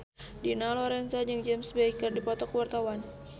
Dina Lorenza jeung James Bay keur dipoto ku wartawan